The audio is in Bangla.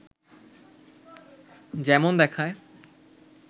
যেমন দেখায়